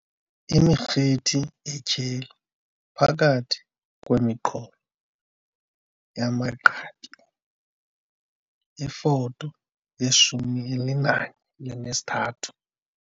Imirhithi etyheli phakathi kwemiqolo yamagqabi, iFoto ye-13.